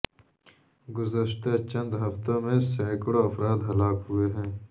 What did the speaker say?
گزشتہ چند ہفتوں میں سینکڑوں افراد ہلاک ہوئے ہیں